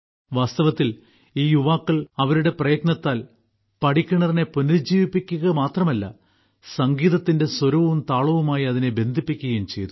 വാസ്തവത്തിൽ ഈ യുവാക്കൾ അവരുടെ പ്രയത്നത്താൽ പടിക്കിണറിനെ പുനരുജ്ജീവിപ്പിക്കുക മാത്രമല്ല സംഗീതത്തിന്റെ സ്വരവും താളവുമായി അതിനെ ബന്ധിപ്പിക്കുകയും ചെയ്തു